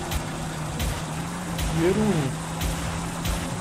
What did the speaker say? веруней